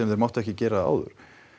þeir máttu ekki gera áður